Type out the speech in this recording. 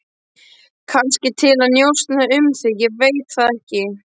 Kannski til að njósna um þig, ég veit það ekki.